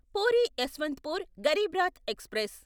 puri Yesvantpur Garib Rath express